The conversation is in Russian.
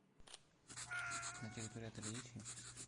на территории отеля есть химчистка